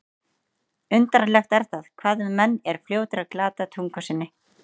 Undarlegt er það, hvað menn eru fljótir að glata tungu sinni.